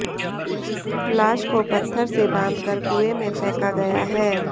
लाश को पत्थर से बांध कर कुंए में फैंका गया हैं